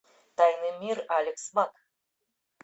тайный мир алекс мак